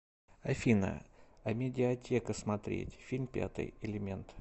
афина амедиатека смотреть фильм пятый элемент